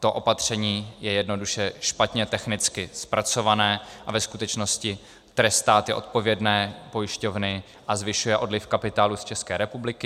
To opatření je jednoduše špatně technicky zpracované a ve skutečnosti trestá ty odpovědné pojišťovny a zvyšuje odliv kapitálu z České republiky.